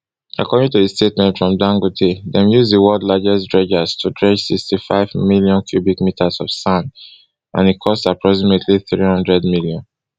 according to statement from dangote dem use di world largest dredgers to dredge sixty-five million cubic meters of sand and e cost approximately three hundred million